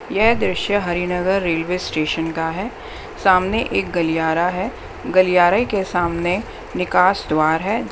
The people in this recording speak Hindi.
यह दृश्य हरिनगर रेलवे स्टेशन का है सामने एक गलियारा है गलियारे के सामने निकास द्वार है।